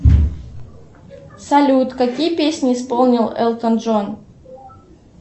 салют какие песни исполнил элтон джон